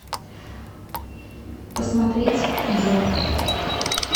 посмотреть е